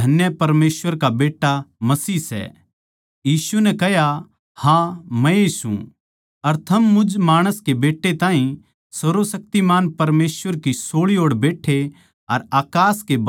यीशु नै कह्या हाँ मै ए सूं अर थम मुझ माणस के बेट्टे ताहीं सर्वशक्तिमान परमेसवर की सोळी ओड़ बैट्ठे अर अकास के बादळां कै गेल्या आंदे देक्खोगे